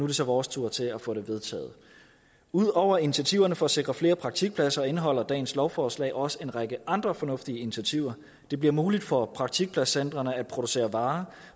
det så vores tur til at få det vedtaget ud over initiativerne for at sikre flere praktikpladser indeholder dagens lovforslag også en række andre fornuftige initiativer det bliver muligt for praktikpladscentrene at producere varer